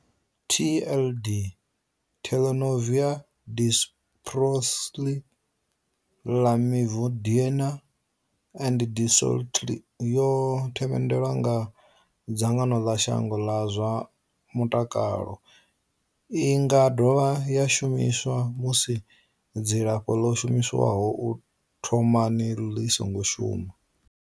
TLD Tenofovir disoproxil, Lamivudine and dolutegravir yo themendelwa nga dzangano ḽa shango ḽa zwa mutakalo. I nga dovha ya shumiswa musi dzilafho ḽo shumiswaho u thomani ḽi songo shuma.